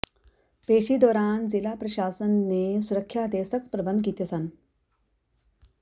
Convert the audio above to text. ਪੇਸ਼ੀ ਦੌਰਾਨ ਜ਼ਿਲ੍ਹਾ ਪ੍ਰਸ਼ਾਸਨ ਨੇ ਸੁਰੱਖਿਆ ਦੇ ਸਖ਼ਤ ਪ੍ਰਬੰਧ ਕੀਤੇ ਸਨ